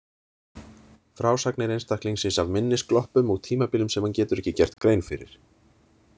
Frásagnir einstaklingsins af minnisgloppum og tímabilum sem hann getur ekki gert grein fyrir.